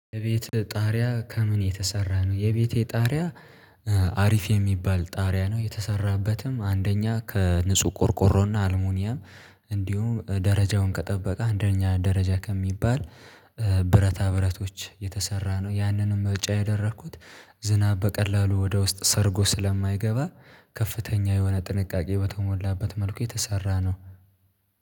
የቤት ጣሪያ ከምን የተሰራ ነው። የቤቴ ጣሪያ አሪፍ የሚባል ጣሪያ ነው። የተሰራበትም አንደኛ ከንጹህ ቆርቆሮና አልሙኘም እንዲሁም ደረጃውን ከጠበቀ አንደኛ ደረጃ ከሚባል ብረታ ብረቶች የተሰራ ነው። ያንንም በብጫ ያደረኩት ዝናብ በቀላሉ ወደ ውስጥ ሰርጎ ስለማይገባ። ከፍተኛ የሆነ ጥንቃቄ በተሞላበት መልኩ የተሰራ ነው